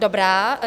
Dobrá.